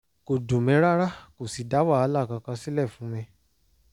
kò dùn mí rárá kò sì dá wàhálà kankan sílẹ̀ fún mi